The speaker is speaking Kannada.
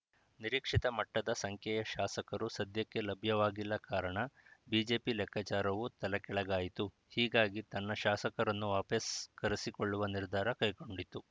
ನಿರೀಕ್ಷಿತ ಮಟ್ಟದ ಸಂಖ್ಯೆಯ ಶಾಸಕರು ಸದ್ಯಕ್ಕೆ ಲಭ್ಯವಾಗಿಲ್ಲ ಕಾರಣ ಬಿಜೆಪಿ ಲೆಕ್ಕಾಚಾರವೂ ತಲೆಕೆಳಗಾಯಿತು ಹೀಗಾಗಿ ತನ್ನ ಶಾಸಕರನ್ನು ವಾಪಸ್‌ ಕರೆಸಿಕೊಳ್ಳುವ ನಿರ್ಧಾರ ಕೈಗೊಂಡಿತು